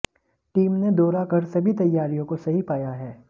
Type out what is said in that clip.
team ने दौरा कर सभी तैयारियों को सही पाया है